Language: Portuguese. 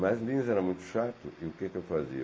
Mas Lins era muito chato e o que que eu fazia?